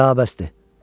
Da bəsdir.